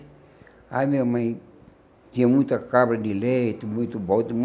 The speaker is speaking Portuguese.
Aí minha mãe tinha muita cabra de leite, muito bode,